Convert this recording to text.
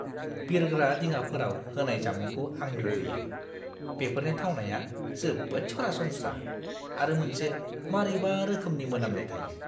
बिरग्रा दिङाफोराव होनाय जामुंखौ आं मुगैयो। बेफोरनि थावनाया जोबोद सरासनस्रा आरो मोनसे मारैबा रोखोमनि मोनामनाय थायो।